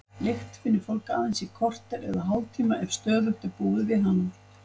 Lykt finnur fólk aðeins í korter eða hálftíma ef stöðugt er búið við hana.